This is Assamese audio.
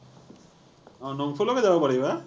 অ, নংপুলৈকে যাব পাৰিবা।